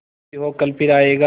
जो भी हो कल फिर आएगा